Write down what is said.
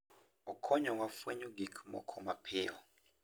Okonyowa fwenyo gik moko mapiyo.